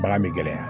Bagan bɛ gɛlɛya